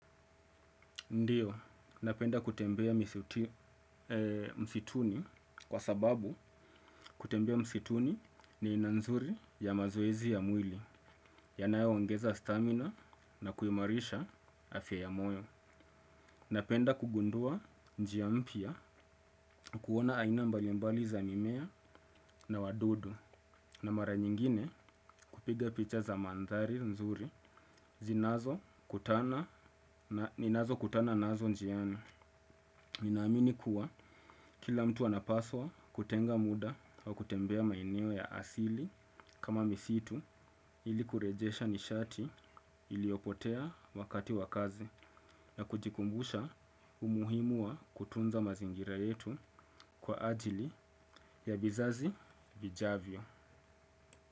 Ndiyo, napenda kutembea msituni kwa sababu kutembea msituni ni aina nzuri ya mazoezi ya mwili, yanayo ongeza stamina na kuimarisha afya ya moyo. Napenda kugundua njia mpya kuona aina mbalimbali za mimea na wadudu, na mara nyingine kupiga picha za mandhari nzuri zinazo kutana na ninazo kutana nazo njiana. Ninaamini kuwa kila mtu anapaswa kutenga muda wa kutembea maeneo ya asili kama misitu ili kurejesha nishati iliopotea wakati wakazi na kujikumbusha umuhimu wa kutunza mazingira yetu kwa ajili, ya vizazi vijavyo.